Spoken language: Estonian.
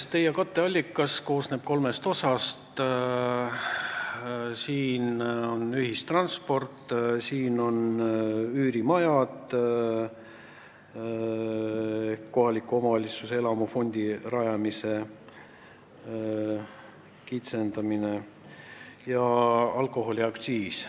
Sest teie katteallikas koosneb kolmest osast: siin on ühistransport, üürimajad, kohaliku omavalitsuse elamufondi rajamise kitsendamine ja alkoholiaktsiis.